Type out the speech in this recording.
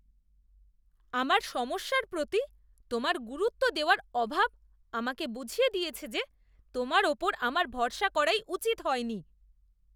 আমার সমস্যার প্রতি তোমার গুরুত্ব দেওয়ার অভাব আমাকে বুঝিয়ে দিয়েছে যে তোমার উপর আমার ভরসা করাই উচিৎ হয়নি।